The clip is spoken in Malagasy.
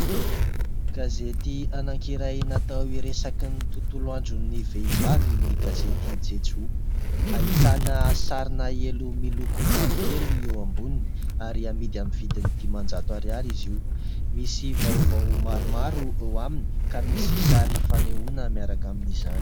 Gazety anankiray natao hiresaka ny tontolo andron'ny vehivavy ny gazety Jejoo. Ahitana sarina elo miloko mavokely eo amboniny ary amidy amin'ny vidiny dimanjato ariary izy io. Misy vaovao maromaro ao aminy ka misy sary fanehoana miaraka amin'izany.